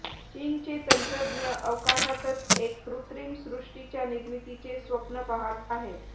चीनचे तंत्रज्ञ अवकाशातच एक कृत्रिम सृष्टीच्या निर्मितीचे स्वप्न पहात आहेत